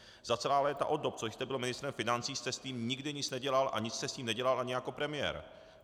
Za celá léta od dob, co jste byl ministrem financí, jste s tím nikdy nic nedělal a nic jste s tím nedělal ani jako premiér.